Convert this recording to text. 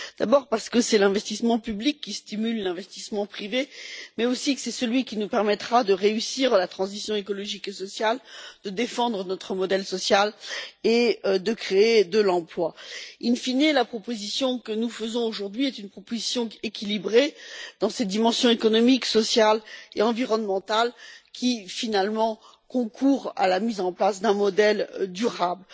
D'abord, parce que c'est l'investissement public qui stimule l'investissement privé, mais aussi parce que c'est celui qui nous permettra de réussir la transition écologique et sociale, de défendre notre modèle social et de créer de l'emploi. In fine, la proposition que nous faisons aujourd'hui est une proposition équilibrée dans ses dimensions économiques, sociales et environnementales qui, finalement, concourt à la mise en place d'un modèle durable.